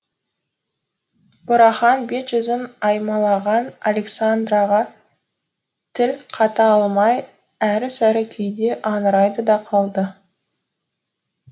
бурахан бет жүзін аймалаған александраға тіл қата алмай әрі сәрі күйде аңырайды да қалды